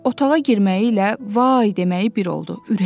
Otağa girməyi ilə "Vay" deməyi bir oldu.